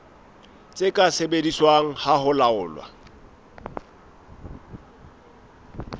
tse ka sebediswang ho laola